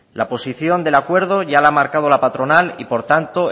la posición del acuerdo ya la ha marcado la patronal y por tanto